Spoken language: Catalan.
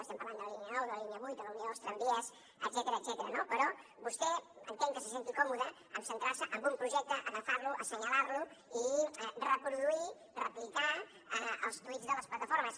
estem parlant de la línia nou de la línia vuit de la unió dels tramvies etcètera no però vostè entenc que se senti còmode amb centrar se en un projecte agafar lo assenyalar lo i reproduir replicar els tuits de les plataformes